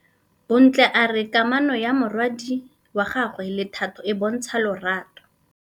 Bontle a re kamanô ya morwadi wa gagwe le Thato e bontsha lerato.